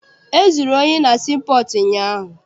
E zuru ohi na sii pọọtụ ụnyaahụ.